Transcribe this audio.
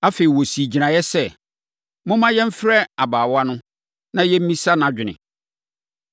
Afei, wɔsii gyinaeɛ sɛ, “Momma yɛmfrɛ ababaawa no, na yɛmmisa nʼadwene.”